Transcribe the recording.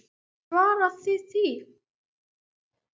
Geturðu svarað því?